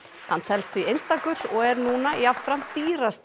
hann telst því einstakur og er núna jafnframt dýrasti